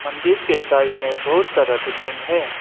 मंदिर के साइड में बहुत सारा बिल्डिंग है।